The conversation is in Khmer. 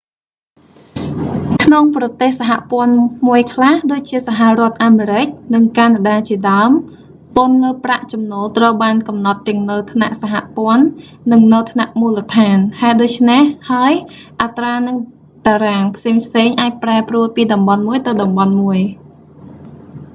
ក្នុងប្រទេសសហព័ន្ធមួយខ្លះ ដូចជាសហរដ្ឋអាមេរិក និងកាណាដាជាដើម ពន្ធលើប្រាក់ចំណូលត្រូវបានកំណត់ទាំងនៅថ្នាក់សហព័ន្ធ និងនៅថ្នាក់មូលដ្ឋាន ហេតុដូច្នេះហើយ អត្រា និងតារាងផ្សេងៗអាចប្រែប្រួលពីតំបន់មួយទៅតំបន់មួយ